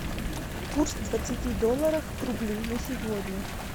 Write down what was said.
курс двадцати долларах к рублю на сегодня